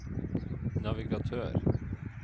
navigatør